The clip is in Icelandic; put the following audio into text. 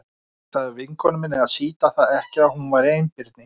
Ég sagði vinkonu minni að sýta það ekki að hún væri einbirni.